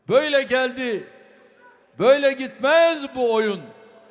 Böylə gəldi, böylə getməz bu oyun.